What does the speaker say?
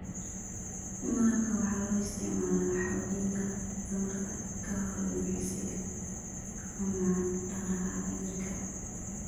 Malabka waxaa loo isticmaalaa xoojinta tamarta ka hor jimicsiga ama dhaqdhaqaaqa jirka.